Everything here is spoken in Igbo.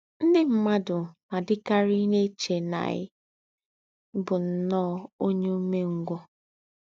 Ndí́ m̀madù nà-àdí́kárí èché nà ì̀ bù nnọ́ọ́ ònyè ùmèngwù